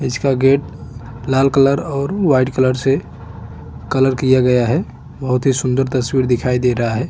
इसका गेट लाल कलर और व्हाइट कलर से कलर किया गया है बहुत ही सुंदर तस्वीर दिखाई दे रहा है।